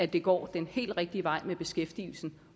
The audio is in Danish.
det går den helt rigtige vej med beskæftigelsen